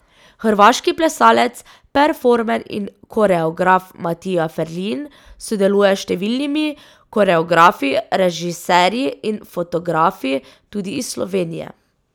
Hrvaški plesalec, performer in koreograf Matija Ferlin sodeluje s številnimi koreografi, režiserji in fotografi, tudi iz Slovenije.